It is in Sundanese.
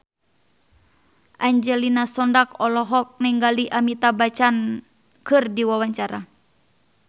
Angelina Sondakh olohok ningali Amitabh Bachchan keur diwawancara